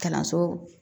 Kalanso